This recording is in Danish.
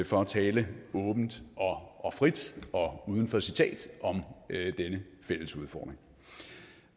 for at tale åbent og frit og uden for citat om denne fælles udfordring